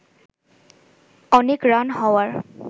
অনেক রান হওয়ার